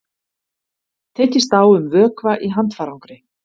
Tekist á um vökva í handfarangri